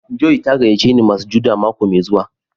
"Joy" ta gayace ni masujaɗa mako mai zuwa.